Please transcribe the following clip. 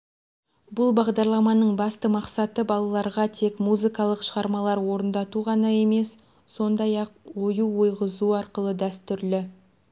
бұл бағдарламаның басты мақсаты балаларға тек музыкалық шығармалар орындату ғана емес сондай-ақ ою ойғызу арқылы дәстүрлі